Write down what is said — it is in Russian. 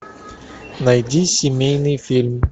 найди семейный фильм